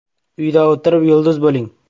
“Uyda o‘tirib, yulduz bo‘ling!